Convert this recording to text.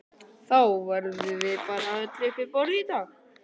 Þá verðum við bara öll uppi á borðum í dag